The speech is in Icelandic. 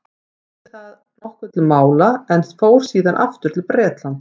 hann lagði þar nokkuð til mála en fór síðan aftur til bretlands